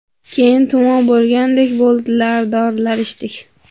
Keyin tumov bo‘lgandek bo‘ldilar, dorilar ichdik.